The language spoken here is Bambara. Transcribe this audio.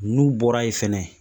N'u bɔra yen fɛnɛ